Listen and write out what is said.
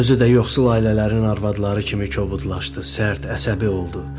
Özü də yoxsul ailələrin arvadları kimi kobudlaşdı, sərt, əsəbi oldu.